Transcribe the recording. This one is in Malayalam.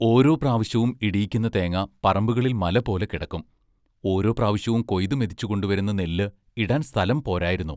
ഓരോ പ്രാവശ്യവും ഇടിക്കുന്ന തേങ്ങ പറമ്പുകളിൽ മലപോലെ കിടക്കും ഓരോ പ്രാവശ്യവും കൊയ്തു മെതിച്ചു കൊണ്ടു വരുന്ന നെല്ല് ഇടാൻ സ്ഥലം പോരായിരുന്നു.